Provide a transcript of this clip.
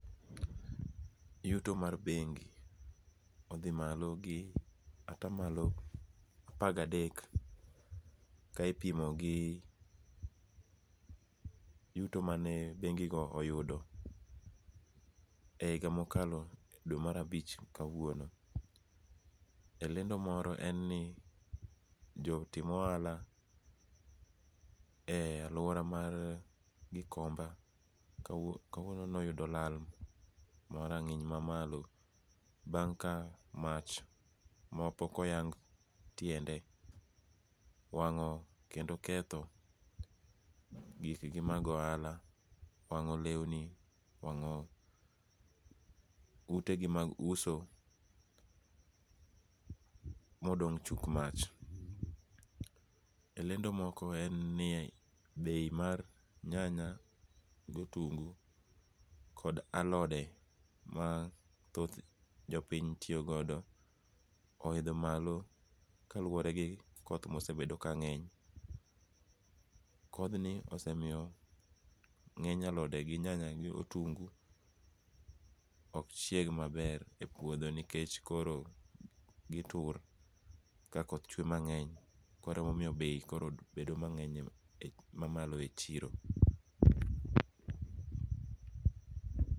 Yuto mar bengi othi malo gi atah malo apagadek ka ipimogi yuto mane bengigo oyudo e higa mokalo e dwe mar abich nyaka kawuono, e lendo moro en ni jotim ohala e aluora mar gikomba kawuono noyudo lal ma rangi'ny mamalo bang' ka mach ma pok oyang tiende wango kendo ketho gikgi mag ohala, owango' lewni owango' utegi mag uso modong' chuk mach, lendo moko en ni bei mar nyanya gi otungu kod alode ma thoth jo piny tiyogodo ohitho malo kaluoregi koth ma osebedo kange'ny, kothnie osemiyo nge'ny alode kod nyanya gi kitungu' ok chieg maber nikech koro gitur ka koth chwe mange'ny koro emomiyo koro bei bedo mange'ny e chiro.